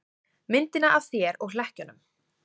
Myndina af þér og hlekkjunum.